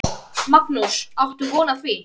Magnús: Áttu von á því?